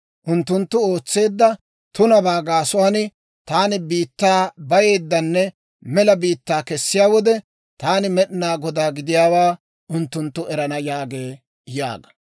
Unttunttu ootseedda tunabaa gaasuwaan taani biittaa bayeeddanne mela biittaa kessiyaa wode, taani Med'inaa Godaa gidiyaawaa unttunttu erana» yaagee› yaaga.